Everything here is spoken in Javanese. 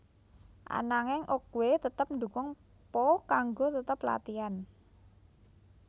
Ananging Oogway tetep ndukung Po kanggo tetep latihan